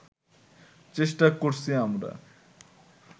চেষ্টা করছি আমরা